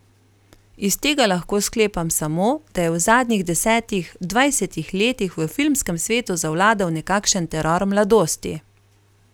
Iz tega lahko sklepam samo, da je v zadnjih desetih, dvajsetih letih v filmskem svetu zavladal nekakšen teror mladosti.